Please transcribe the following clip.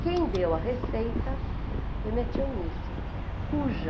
Quem deu a receita foi minha tia Eunice, cuja...